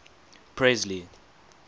presley